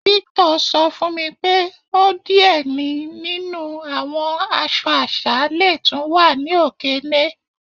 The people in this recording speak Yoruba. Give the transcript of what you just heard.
Victor sọ fun mi pé ọ diẹ̀ ni nínu awọn àṣọ̀ àṣà lẹ́ túń wà ni Okene.